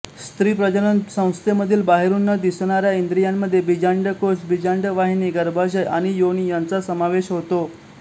स्त्री प्रजनन संस्थेमधील बाहेरून न दिसणाऱ्या इंद्रियामध्ये बीजांडकोश बीजांडवाहिनी गर्भाशय आणि योनी यांचा समावेश होतो